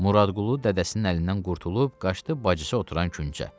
Muradqulu dədəsinin əlindən qurtulub qaçdı bacısı oturan küncə.